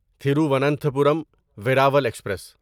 Thiruvananthapuram Veraval express